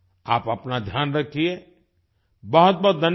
आप अपना ध्यान रखिये बहुत बहुत धन्यवाद